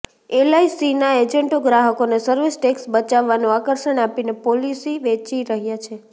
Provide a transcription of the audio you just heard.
એલઆઇસીના એજન્ટો ગ્રાહકોને service tax બચાવવાનું આકર્ષણ આપીને પોલિસી વેચી રહ્યા છે